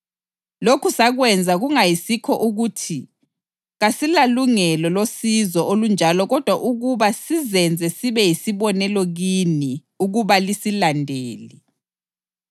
Lokhu sakwenza kungayisikho ukuthi kasilalungelo losizo olunjalo kodwa ukuba sizenze sibe yisibonelo kini ukuba lisilandele.